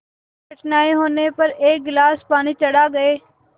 कठिनाई होने पर एक गिलास पानी चढ़ा गए